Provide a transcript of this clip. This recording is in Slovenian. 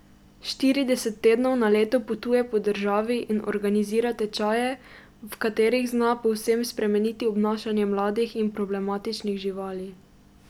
Štirideset tednov na leto potuje po državi in organizira tečaje, v katerih zna povsem spremeniti obnašanje mladih in problematičnih živali.